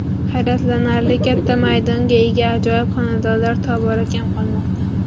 Hayratlanarli katta maydonga ega ajoyib xonadonlar tobora kam qolmoqda.